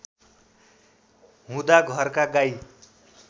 हुँदा घरका गाई